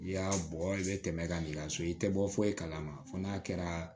I y'a bɔ i bɛ tɛmɛ ka so i tɛ bɔ foyi kalama fɔ n'a kɛra